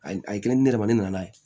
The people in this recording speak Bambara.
A ye a ye kelen di ne yɛrɛ ma ne nana ye